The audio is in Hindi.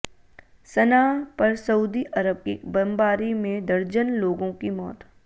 सनआ पर सऊदी अरब की बम्बारी में दर्जन लोगों की मौत